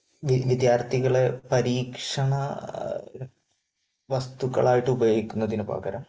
വിദ്യാർഥികളെ പരീക്ഷണ വസ്തുക്കളായിട്ട് ഉപയോഗിക്കുന്നതിന് പകരം